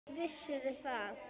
Vissirðu það?